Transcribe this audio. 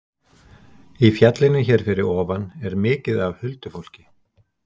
Í fjallinu hér fyrir ofan er mikið af huldufólki